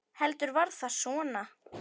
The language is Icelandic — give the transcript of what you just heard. Heldur var það svona!